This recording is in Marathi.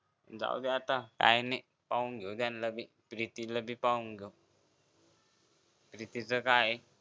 जाऊदे आता काही नाही पाहून घेऊ त्यांना भी प्रीतीला भी पाहून घेऊ प्रीतीच काय